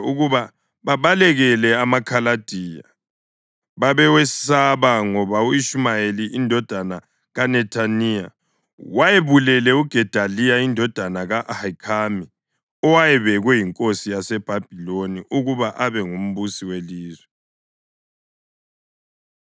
ukuba babalekele amaKhaladiya. Babewesaba ngoba u-Ishumayeli indodana kaNethaniya wayebulele uGedaliya indodana ka-Ahikhami owayebekwe yinkosi yaseBhabhiloni ukuba abe ngumbusi welizwe.